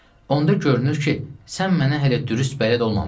Onda görünür ki, sən mənə hələ dürüst bələd olmamısan.